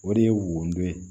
O de ye wodo ye